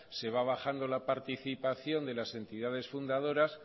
se va bajando la participación de las entidades fundadoras